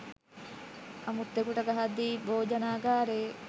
අමුත්තකුට ගහද්දී භෝජනාගාරයේ